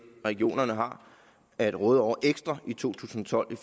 regionerne har at råde over ekstra i to tusind og tolv i